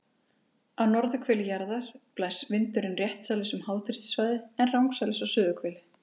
Á norðurhveli jarðar blæs vindurinn réttsælis um háþrýstisvæði, en rangsælis á suðurhveli.